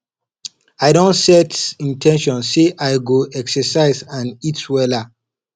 i don set in ten tion say i go exercise and eat wella